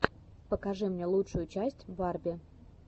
покажи мне лучшую часть барби